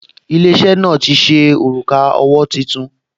Ilé-iṣẹ́ náà ti ṣe òrùka owó tuntun